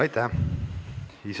Aitäh!